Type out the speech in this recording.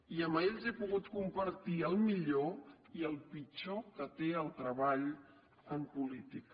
i amb ells he pogut compartir el millor i el pitjor que té el treball en política